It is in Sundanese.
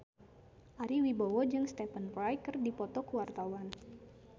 Ari Wibowo jeung Stephen Fry keur dipoto ku wartawan